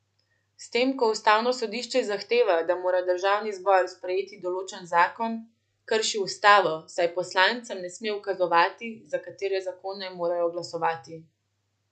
S tem ko ustavno sodišče zahteva, da mora državni zbor sprejeti določen zakon, krši ustavo, saj poslancem ne sme ukazovati, za katere zakone morajo glasovati.